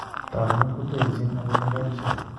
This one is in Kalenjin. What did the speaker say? Taakunet ko terchin, akot en kapchi.